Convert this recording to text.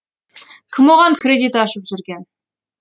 кім оған кредит ашып жүрген